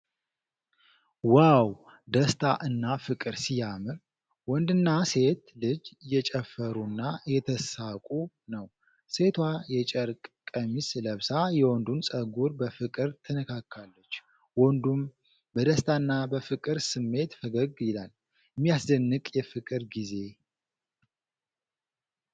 ዋው! ደስታ እና ፍቅር ሲያምር! ወንድና ሴት ልጅ እየጨፈሩና እየተሳሳቁ ነው። ሴቷ የጨርቅ ቀሚስ ለብሳ የወንዱን ፀጉር በፍቅር ትነካለች። ወንዱም በደስታና በፍቅር ስሜት ፈገግ ይላል። የሚያስደንቅ የፍቅር ጊዜ።